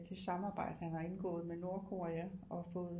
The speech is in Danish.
Det samarbejde han har indgået med Nordkorea og fået